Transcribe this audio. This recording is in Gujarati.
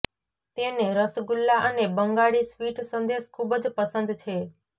તેને રસગુલ્લા અને બંગાળી સ્વીટ સંદેશ ખૂબ જ પસંદ છે